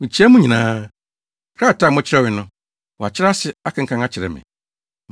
Mikyia mo nyinaa. Krataa a mokyerɛwee no, wɔakyerɛ ase, akenkan akyerɛ me.